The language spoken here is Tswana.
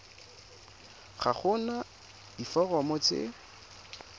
ga go na diforomo tse